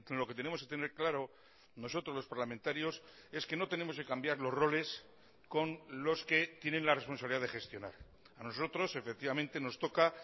lo que tenemos que tener claro nosotros los parlamentarios es que no tenemos que cambiar los roles con los que tienen la responsabilidad de gestionar a nosotros efectivamente nos toca